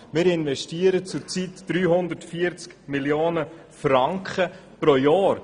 Zurzeit investieren wir 340 Mio. Franken pro Jahr.